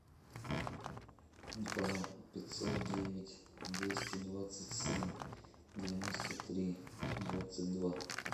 два пятьсот девять двести двадцать семь девяносто три двадцать два